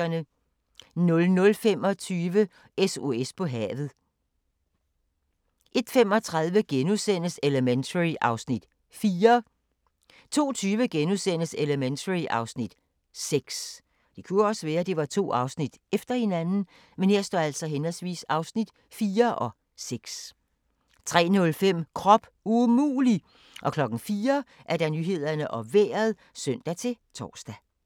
00:25: SOS på havet 01:35: Elementary (Afs. 4)* 02:20: Elementary (Afs. 6)* 03:05: Krop umulig! 04:00: Nyhederne og Vejret (søn-tor)